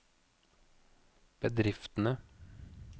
bedriftene